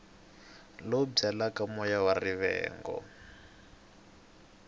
lowu byalaka moya wa rivengo